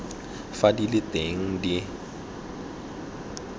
fa di le teng di